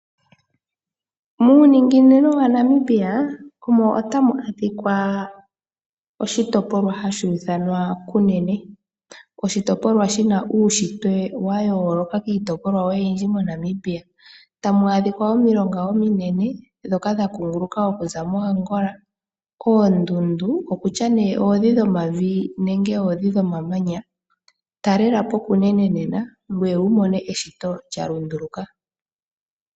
Muuninginino waNamibia, omo tamu adhika oshitopolwa shaKunene, oshitopolwa shina uushitwe wayooloka kiitopolwa iikwawo oyindji moNamibia tamwaadhika omilonga ominene ndhoka dha kunguluka okuza moAngola, oondunda adhihe dhomavi naandhi dhomamanya talelapo Kunene nena gweye wumone eshito lyalunduluka.